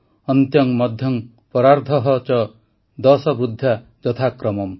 ଅନ୍ତ୍ୟଂ ମଧ୍ୟଂ ପରାର୍ଦ୍ଧଃ ଚ ଦଶ ବୃଦ୍ଧ୍ୟା ଯଥାକ୍ରମମ୍